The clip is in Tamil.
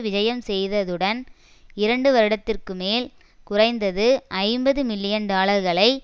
விஜயம் செய்ததுடன் இரண்டு வருடத்திற்கு மேல் குறைந்தது ஐம்பது மில்லியன் டாலர்களை